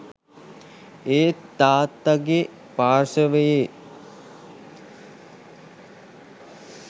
ඒත් තාත්තගෙ පාර්ශවයේ